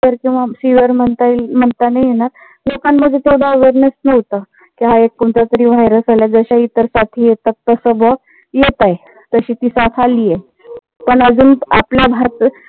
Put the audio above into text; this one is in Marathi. fever म्हणता नाही येणार. लोकांमध्ये तेवढा awareness नव्हता. कि हेक कोणता तरी virus आलाय. जशा इतर साथी येतात तस मग येत आहे. तशी ती साथ आलीय. पण अजून आपल्या भारतामध्ये